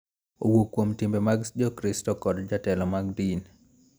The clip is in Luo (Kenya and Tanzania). Owuok kuom timbe mag Jokristo, kod jotelo mag din .